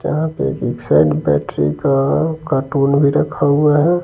यहां पे एक साइड बैटरी का कार्टून भी रखा हुआ है।